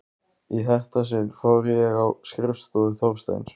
Í þetta sinn fór ég á skrifstofu Þorsteins.